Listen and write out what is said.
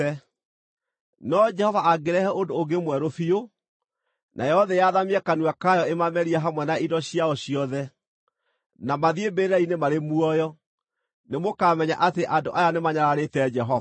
No Jehova angĩrehe ũndũ ũngĩ mwerũ biũ, nayo thĩ yathamie kanua kayo ĩmamerie hamwe na indo ciao ciothe, na mathiĩ mbĩrĩra-inĩ marĩ muoyo, nĩmũkamenya atĩ andũ aya nĩ manyararĩte Jehova.”